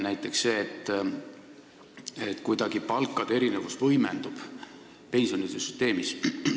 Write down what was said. Näiteks et palkade erinevus kuidagi võimendub pensionisüsteemis.